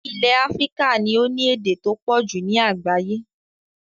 Ilẹ̀ Africa ni o ni èdè to pọ̀jù ni àgbáyẹ́